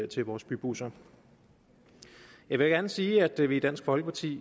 til vores bybusser jeg vil gerne sige at vi i dansk folkeparti